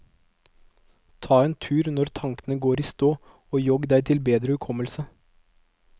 Ta en tur når tanken går i stå og jogg deg til bedre hukommelse.